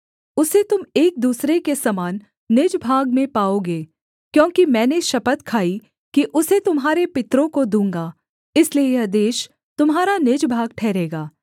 उसे तुम एक दूसरे के समान निज भाग में पाओगे क्योंकि मैंने शपथ खाई कि उसे तुम्हारे पितरों को दूँगा इसलिए यह देश तुम्हारा निज भाग ठहरेगा